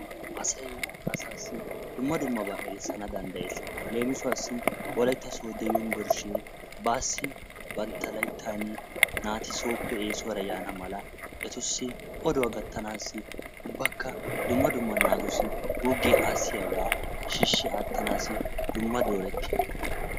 Asay asassi dumma dummaba erissana danddayees. Leemisuwassi wolaytta sooddo yunvurshshee baassi bantta layttan naat sooope essuwara yaana mala etussi oduwaa gataanasi ubbakka dumma dumma naatussi guugiya assiyaba shiishi attanasi dumma dooretiyaga.